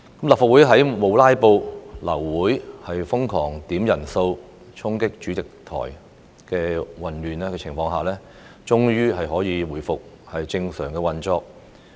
立法會在沒有"拉布"、流會丶瘋狂點算人數、衝擊主席台的混亂情況下，終於可以回復正常運作。